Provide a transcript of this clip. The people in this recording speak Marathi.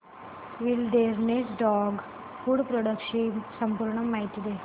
विलडेरनेस डॉग फूड प्रोडक्टस ची पूर्ण माहिती दे